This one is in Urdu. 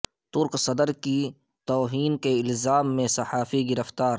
ترک صدر کی توہین کے الزام میں صحافی گرفتار